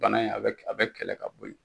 Bana in a bɛ a bɛ kɛlɛ ka bɔ ye.